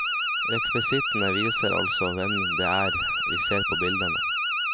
Rekvisittene viser altså hvem det er vi ser på bildene.